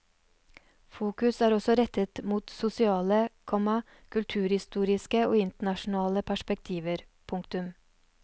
Fokus er også rettet mot sosiale, komma kulturhistoriske og internasjonale perspektiver. punktum